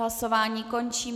Hlasování končím.